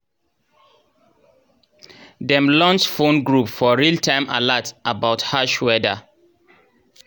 dem launch phone group for real-time alerts about harsh weda